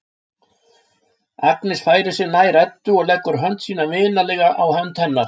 Agnes færir sig nær Eddu og leggur hönd sína vinalega á hönd hennar.